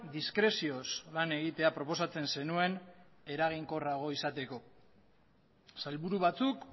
diskrezioz lan egitea proposatzen zenuen eraginkorragoa izateko sailburu batzuk